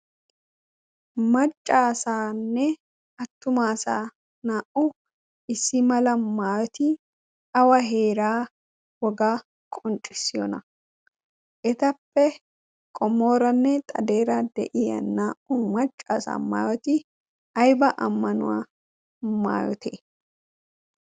maccaasaanne attumaasa naa''u issi mala maayoti awa heeraa wogaa qonxxissiyona etappe qomooranne xadeera de'iya naa''u maccaasa maayoti ayba ammanuwaa maayote